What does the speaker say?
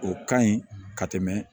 O ka ɲi ka tɛmɛ